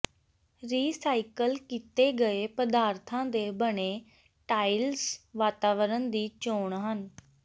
recycle ਕੀਤੇ ਗਏ ਪਦਾਰਥਾਂ ਦੇ ਬਣੇ ਟਾਇਲਸ ਵਾਤਾਵਰਨ ਦੀ ਚੋਣ ਹਨ